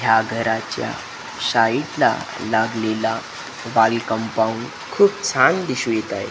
या घराच्या साईट ला लागलेला वॉल कंपाऊंड खूप छान दिसून येतं आहे.